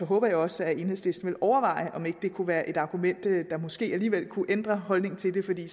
håber jeg også at enhedslisten vil overveje om ikke det kunne være et argument der måske alligevel kunne ændre deres holdning til det